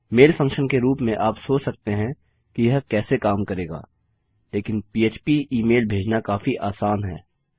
मैल function के रूप में आप सोच सकते हैं कि यह कैसे काम करेगा लेकिन पह्प ई मेल भेजना काफी आसान है